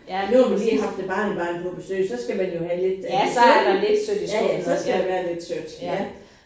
Nu har vi lige haft et barnebarn på besøg så skal man jo have lidt af det søde ja ja så skal der være lidt sødt ja